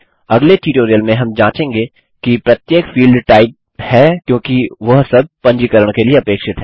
अगले ट्यूटोरियल में हम जाँचेंगे कि प्रत्येक फील्ड टाइप है क्योंकि वह सब पंजीकरण के लिए अपेक्षित हैं